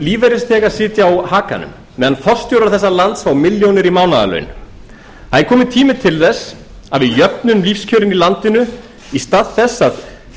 lífeyrisþega sitja á hakanum meðan forstjórar þessa lands fá milljónir í mánaðarlaun það er kominn tími til þess að við jöfnum lífskjörin í landinu í stað þess að